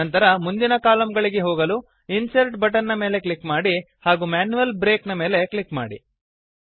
ನಂತರ ಮುಂದಿನ ಕಾಲಮ್ ಗಳಿಗೆ ಹೋಗಲು ಇನ್ಸರ್ಟ್ ಬಟನ್ ನ ಮೇಲೆ ಕ್ಲಿಕ್ ಮಾಡಿ ಹಾಗೂ ಮ್ಯಾನ್ಯುಯಲ್ ಬ್ರೇಕ್ ನ ಮೇಲೆ ಕ್ಲಿಕ್ ಮಾಡಿ